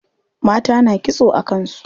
Mata na kitso a kan su.